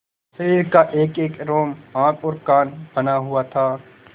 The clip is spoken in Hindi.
शरीर का एकएक रोम आँख और कान बना हुआ था